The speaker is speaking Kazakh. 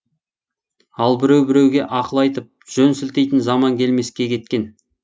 ал біреу біреуге ақыл айтып жөн сілтейтін заман келмеске кеткен